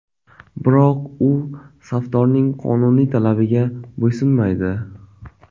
Biroq u safdorning qonuniy talabiga bo‘ysunmaydi.